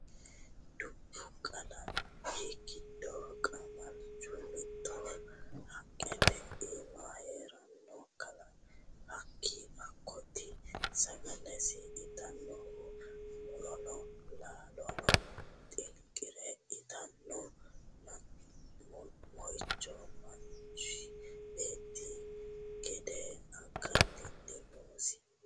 Dubbu kalaqami giddo qamalchu mittoho haqqete iima heerano hakkoti sagalesi itanohu murono laalono xinqire itano moichoti manchu beetti gede akatino noosi.